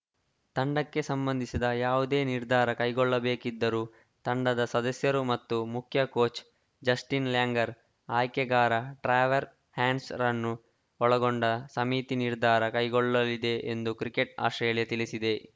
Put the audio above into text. ತಂಡಕ್ಕೆ ಸಂಬಂಧಿಸಿದ ಯಾವುದೇ ನಿರ್ಧಾರ ಕೈಗೊಳ್ಳಬೇಕಿದ್ದರೂ ತಂಡದ ಸದಸ್ಯರು ಮತ್ತು ಮುಖ್ಯ ಕೋಚ್‌ ಜಸ್ಟಿನ್‌ ಲ್ಯಾಂಗರ್‌ ಆಯ್ಕೆಗಾರ ಟ್ರಾವೆರ್ ಹಾನ್ಸ್‌ರನ್ನು ಒಳಗೊಂಡ ಸಮಿತಿ ನಿರ್ಧಾರ ಕೈಗೊಳ್ಳಲಿದೆ ಎಂದು ಕ್ರಿಕೆಟ್‌ ಆಸ್ಪ್ರೇಲಿಯಾ ತಿಳಿಸಿದೆ